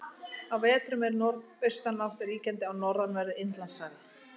Á vetrum er norðaustanátt ríkjandi á norðanverðu Indlandshafi.